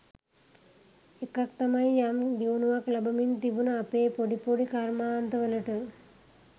එකක් තමයි යම් දියුණුවක් ලබමින් තිබුන අපේ පොඩි පොඩි කර්මාන්ත වලට